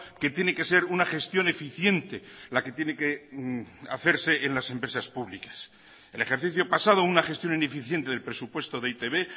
que tiene que ser una gestión eficiente la que tiene que hacerse en las empresas públicas el ejercicio pasado una gestión ineficiente del presupuesto de e i te be